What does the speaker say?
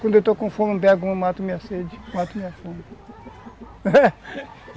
Quando eu estou com fome, um pego uma, mato minha sede, mato minha fome